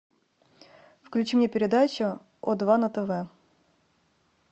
включи мне передачу о два на тв